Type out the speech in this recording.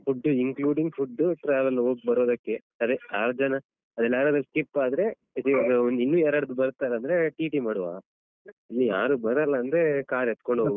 Food including food traveling ಹೋಗ್ಬರೋದಕ್ಕೆ ಅದೇ ಆರ್ ಜನ ಅದ್ರಲ್ಯಾರಾದ್ರು skip ಆದ್ರೆ ಇದೆ ಇನ್ನು ಇನ್ನು ಯಾರಾದ್ರೂ ಬರ್ತಾರೆ ಅಂದ್ರೆ ಟಿಟಿ ಮಾಡುವ ಇನ್ನು ಯಾರು ಬರಲ್ಲ ಅಂದ್ರೆ car ಎತ್ಕೊಂಡ್ಹೋಗುವ.